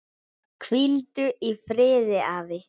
Hvíldu í friði afi.